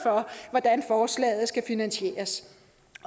hvordan forslaget skal finansieres